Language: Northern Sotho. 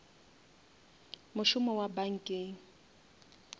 mošomo wa bankeng